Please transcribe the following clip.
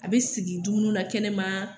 A bɛ sigi dumuni na kɛnɛ ma